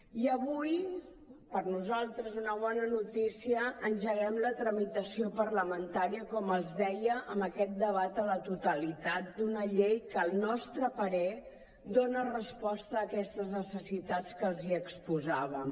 i avui per nosaltres una bona notícia engeguem la tramitació parlamentària com els deia amb aquest debat a la totalitat d’una llei que al nostre parer dona resposta a aquestes necessitats que els hi exposàvem